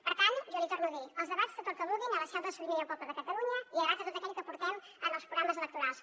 per tant jo l’hi torno a dir a debat tot el que vulguin a la seu de la sobirania del poble de catalunya i a debat tot allò que portem en els programes electorals